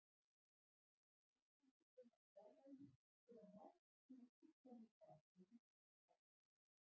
Ef heiladingullinn er fjarlægður koma margs konar truflanir fram á líkamsstarfseminni.